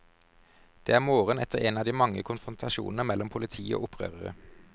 Det er morgen etter en av de mange konfrontasjoner mellom politi og opprørere.